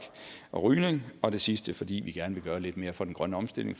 og rygning og det sidste fordi vi gerne vil gøre lidt mere for den grønne omstilling